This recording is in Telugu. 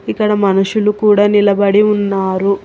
ఇక్కడ మనుషులు కూడా నిలబడి ఉన్నారు.